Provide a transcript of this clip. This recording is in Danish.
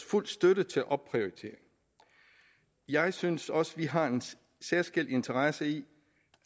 fuld støtte til opprioriteringen jeg synes også vi har en særskilt interesse i